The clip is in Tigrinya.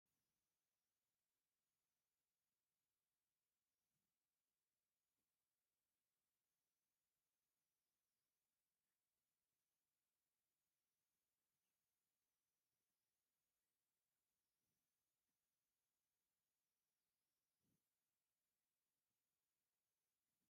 አብ ሓደ ሓምለዋይ ተክሊ ዘለዎ መዝናነይ ቦታ ዝተፈላለየ ሕብሪ ዘለዎም ወንበራን ዝተፈላለየ ሕብሪ ዘለዎም ጨርቂታት ዝተሸፈኑ ጣውላታትን አብ ሕብራዊ ሰራሚክ ተቀሚጦም ይርከቡ፡፡ እዚ መናፈሻ ቦታ እንታይ ተባሂሉ ይፍለጥ?